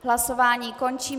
Hlasování končím.